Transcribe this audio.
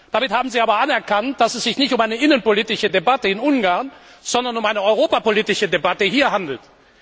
Damit haben Sie aber anerkannt, dass es sich nicht um eine innenpolitische Debatte in Ungarn, sondern um eine europapolitische Debatte hier handelt.